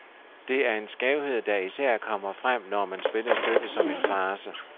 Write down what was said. Det er en skævhed, der især kommer frem, når man spiller stykket som en farce.